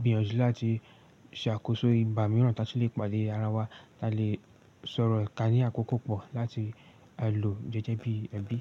gbìyànjú láti ṣe àkóso ìgbà mìíràn tí a ṣe lè pàdé ara wa. Ta lè sọ̀rọ̀ ká ní àkókò pọ̀ láti a lò jẹ́jẹ́ bí ẹbí.